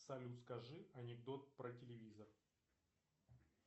салют скажи анекдот про телевизор